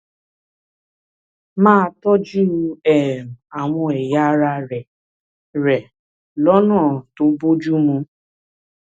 máa tọjú um àwọn ẹyà ara rẹ rẹ lọnà tó bójú mu